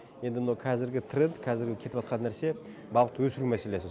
енді мынау кәзіргі тренд кәзіргі кетіватқан нәрсе балықты өсіру мәселесі